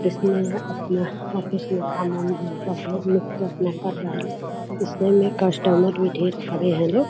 जिसमें अपना ऑफिस में काम-उम हम सब लोग मिल के अपना कर रहे हैं लोग इसमें कस्टमर भी ढेर खड़े हैं लोग।